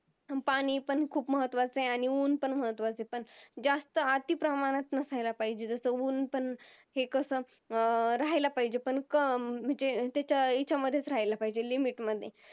अह पाणी पण खूप महत्वाचं आहे आणि उन्ह पण महत्वाच आहे पण ज्यास्त अति प्रमाणात नसाला पाहिजेत जस उन्ह पण हे कस अं राहायला पाहिजेत अह म्हणजे त्याचा ह्या हेच्या मधेच रहायला पाहिजेत म्हणजे Limit मध्ये